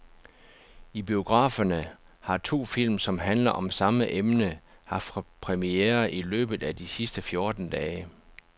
I biograferne har to film, som handler om samme emne, haft premiere i løbet af de sidste fjorten dage.